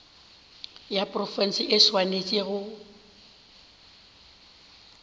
ya profense e swanetše go